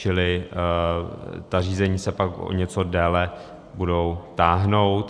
Čili ta řízení se pak o něco déle budou táhnout.